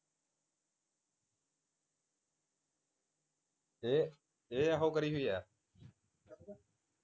ਇਹ ਇਹ ਆਹੋ ਕਰੀ ਹੋਈ ਹੈ